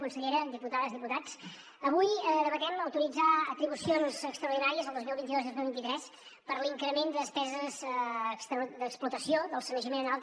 consellera diputades diputats avui debatem autoritzar atribucions extraordinàries al dos mil vint dos i el dos mil vint tres per l’increment de despeses d’explotació del sanejament en alta